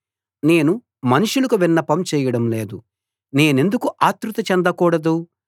నేను మనుషులకు విన్నపం చేయడం లేదు నేనెందుకు ఆత్రుత చెందకూడదు